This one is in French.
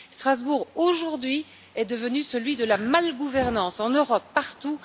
Strasbourg, aujourd'hui, est devenue celui de la mauvaise gouvernance en Europe et partout.